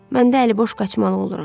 Məndə əliboş qaçmalı oluram.